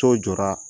So jɔra